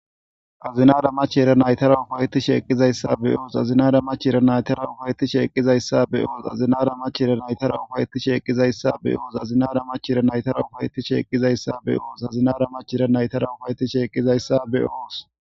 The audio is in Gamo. azinara mach era naytara ufayetti sheeqqizayssa be oos azinara machera naytara ufayeti sheeqizayssa be oos azinara mach era naytara ufayeti sheeqqizayssa be oos azinara mach era naytara ufayetti sheeqqizayssa be oos azinara machera naytara ufayetti sheeqqizayssa be7oos.